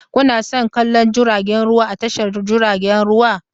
Kuna son kallon jiragen ruwa a tashar jiragen ruwa?